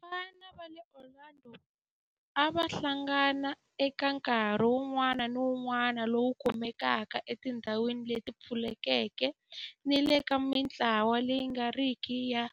Vafana va le Orlando a va hlangana eka nkarhi wun'wana ni wun'wana lowu kumekaka etindhawini leti pfulekeke ni le ka mintlawa leyi nga riki ya